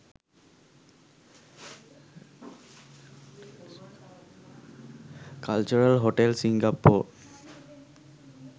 cultural hotel singapore